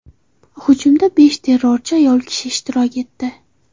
Hujumda besh terrorchi ayol ishtirok etdi.